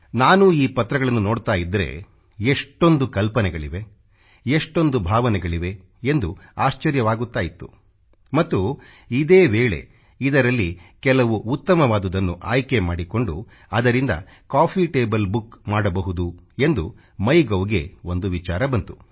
ನಾನೂ ಈ ಪತ್ರಗಳನ್ನು ನೋಡ್ತಾ ಇದ್ದರೆ ಎಷ್ಟೊಂದು ಕಲ್ಪನೆಗಳಿವೆ ಎಷ್ಟೊಂದು ಭಾವನೆಗಳಿವೆ ಎಂದು ಆಶ್ಚರ್ಯವಾಗ್ತಾ ಇತ್ತು ಮತ್ತು ಇದೇ ವೇಳೆ ಇದರಲ್ಲಿ ಕೆಲವು ಉತ್ತಮವಾದುವನ್ನು ಆಯ್ಕೆ ಮಾಡಿಕೊಂಡು ಅದರಿಂದ ಕಾಫೀ ಟೇಬಲ್ ಬುಕ್ ಮಾಡಬಹುದು ಎಂದು ಮೈ ಗೌ ಗೆ ಒಂದು ವಿಚಾರ ಬಂತು